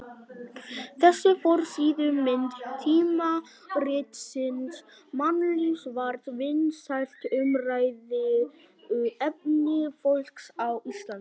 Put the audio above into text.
Þessi forsíðumynd tímaritsins Mannlífs var vinsælt umræðuefni fólks á Íslandi.